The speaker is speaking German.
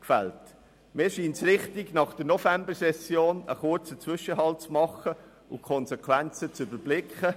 Mir scheint es richtig, nach der Novembersession einen kurzen Zwischenhalt zu machen und die Konsequenzen zu überblicken.